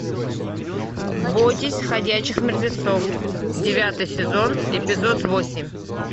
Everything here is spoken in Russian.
бойтесь ходячих мертвецов девятый сезон эпизод восемь